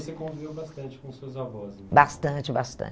E você conviveu bastante com suas avós? Bastante, bastante.